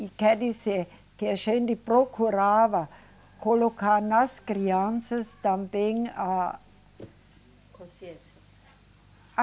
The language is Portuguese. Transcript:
E quer dizer, que a gente procurava colocar nas crianças também a. Consciência. A.